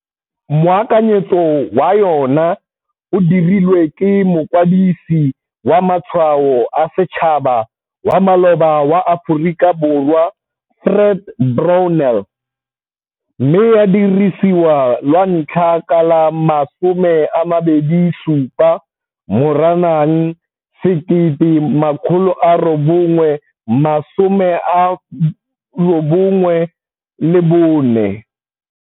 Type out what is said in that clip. Moakanyetso wa yona o dirilwe ke Mokwadisi wa Matshwao a Setšhaba wa maloba wa Aforika Borwa, Fred Brownell, mme ya dirisiwa lwantlha ka la 27 Moranang 1994.